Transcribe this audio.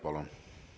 Palun!